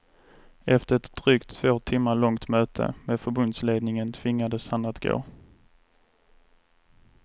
Efter ett drygt två timmar långt möte med förbundsledningen tvingades han att gå.